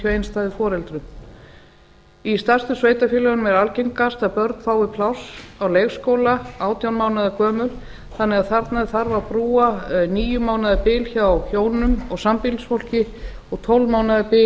einstæðu foreldri í stærstu sveitarfélögunum er algengast að börn fái pláss á leikskóla átján mánaða gömul þannig að þarna þarf að brúa níu mánaða bil hjá hjónum og sambýlisfólki og tólf mánaða bil